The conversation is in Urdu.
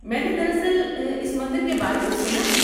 میں نے دراصل اس مندر کے بارے میں سنا ہے۔